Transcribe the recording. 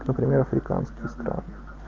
например африканских стран